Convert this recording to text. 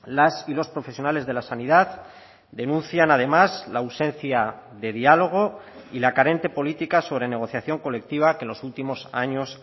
las y los profesionales de la sanidad denuncian además la ausencia de diálogo y la carente política sobre negociación colectiva que en los últimos años